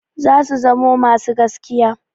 Zasu zamo masu gaskiya.